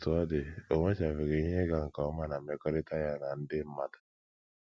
Otú ọ dị, o nwechabeghị ihe ịga nke ọma ná mmekọrịta ya na ndị mmadụ.